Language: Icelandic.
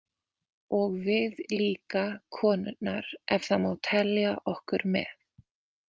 Og við líka konurnar ef það má telja okkur með.